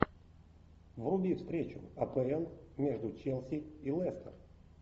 вруби встречу апл между челси и лестер